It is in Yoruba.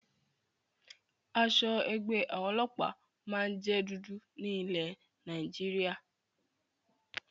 Aṣọ ẹgbẹ́ àwọn ọlọ́pàá máa ń jẹ dúdú ní ilé Nàìjíríà